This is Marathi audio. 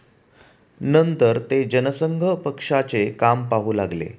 नंतर ते जनसंघ पक्षाचे काम पाहू लागले.